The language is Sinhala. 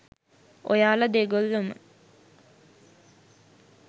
ඔයාල දෙගොල්ලොම